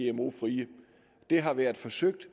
er gmo frie det har været forsøgt